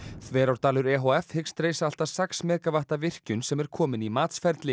Þverárdalur e h f hyggst reisa allt að sex megavatta virkjun sem er komin í matsferli